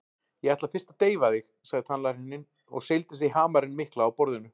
Ég ætla fyrst að deyfa þig, sagði tannlæknirinn og seildist í hamarinn mikla á borðinu.